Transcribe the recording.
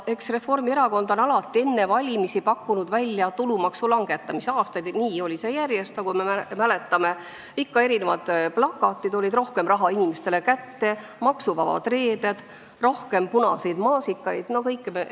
Eks Reformierakond on alati enne valimisi pakkunud välja tulumaksu langetamist, see on olnud aastaid nii, nagu me mäletame – ikka olid plakatid "Rohkem raha inimestele kätte!", "Maksuvabad reeded!", "Rohkem punaseid maasikaid!" jne.